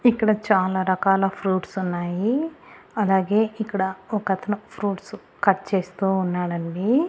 ఇక్కడ చాలా రకాల ఫ్రూట్స్ ఉన్నాయి అలాగే ఇక్కడ ఒకతను ఫ్రూట్స్ కట్ చేస్తూ ఉన్నాడండి.